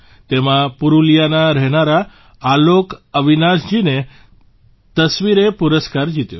તેમાં પુરલિયાના રહેનારા આલોક અવિનાશજીની તસવીરે પુરસ્કાર જીત્યો